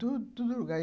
Tudo no lugar.